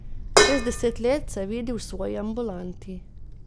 Čez deset let se vidi v svoji ambulanti.